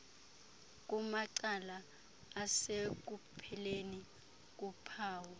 kumacala asekupheleni kuphawu